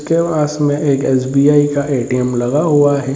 के पास में एक एस.बी.आई. का ए.टी.एम. लगा हुआ है।